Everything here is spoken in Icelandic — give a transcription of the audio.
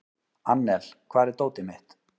Annel, hvar er dótið mitt?